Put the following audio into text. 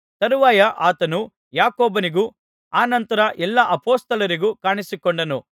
ತರುವಾಯ ಆತನು ಯಾಕೋಬನಿಗೂ ಅನಂತರ ಎಲ್ಲಾ ಅಪೊಸ್ತಲರಿಗೂ ಕಾಣಿಸಿಕೊಂಡನು